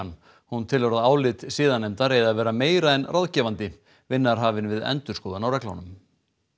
hún telur að álit siðanefndar eigi að vera meira en ráðgefandi vinna er hafin við endurskoðun á reglunum